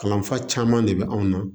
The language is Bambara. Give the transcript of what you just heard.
Kalanfa caman de bɛ anw na